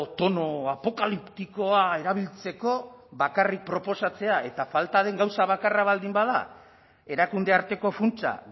tono apokaliptikoa erabiltzeko bakarrik proposatzea eta falta den gauza bakarra baldin bada erakunde arteko funtsa